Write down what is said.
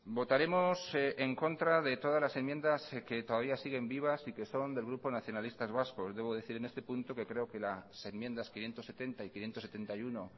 votaremos en contra de todas las enmiendas que todavía siguen vivas y que son del grupo nacionalistas vascos debo decir en este punto que creo que las enmiendas quinientos setenta y quinientos setenta y uno